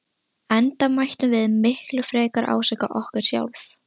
Enda mættum við miklu frekar ásaka okkur sjálf.